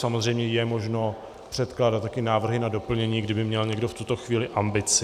Samozřejmě je možné předkládat taky návrhy na doplnění, kdyby měl někdo v tuto chvíli ambici.